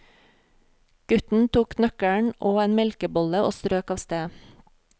Gutten tok nøkkelen og en melkebolle og strøk av sted.